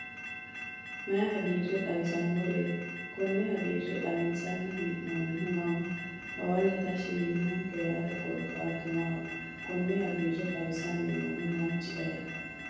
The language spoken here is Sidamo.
mayi hagire xawisanoret? koone hagire xawinisani henonihu maamat? hawalle tashshi yinonike yaate korikatu maat? Kone hagire xawisani nohu manchi ayiti?